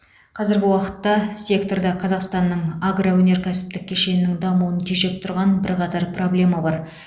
қазіргі уақытта секторда қазақстанның агроөнеркәсіптік кешенінің дамуын тежеп тұрған бірқатар проблема бар